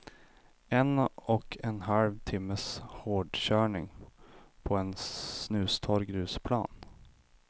En och en halv timmes hårdkörning på en snustorr grusplan.